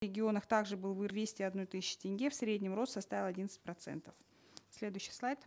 регионах также был двести одной тысячи тенге в среднем рост составил одиннадцать процентов следующий слайд